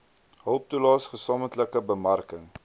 hulptoelaes gesamentlike bemarking